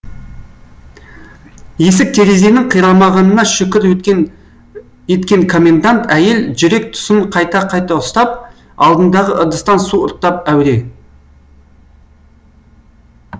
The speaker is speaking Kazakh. есік терезенің қирамағанына шүкір еткен комендант әйел жүрек тұсын қайта қайта ұстап алдындағы ыдыстан су ұрттап әуре